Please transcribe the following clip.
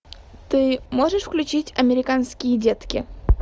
ты можешь включить американские детки